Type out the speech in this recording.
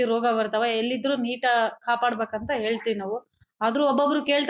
ರೋಗ ಬರ್ತಾವ ಎಲ್ಲಿದ್ರೂ ನೀಟ್ ಕಾಪಾಡ್ಬೇಕಂತ ಹೇಳ್ತಿವ್ ನಾವು ಆದ್ರೂ ಒಬ್ಬೊಬ್ರು ಕೇಳ್--